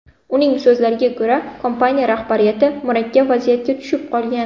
Uning so‘zlariga ko‘ra, kompaniya rahbariyati murakkab vaziyatga tushib qolgan.